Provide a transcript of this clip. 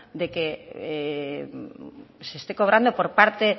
de que se esté cobrando por parte